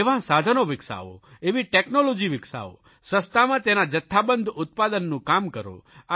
એવા સાધનો વિકસાવો એવી ટેકનોલોજી વિકસાવો સસ્તામાં તેના જથ્થાબંધ ઉત્પાદનનું કામ કરો